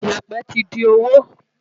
Ìyẹ̀pẹ̀ ti di òwò.